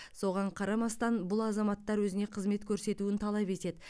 соған қарамастан бұл азаматтар өзіне қызмет көрсетуін талап етеді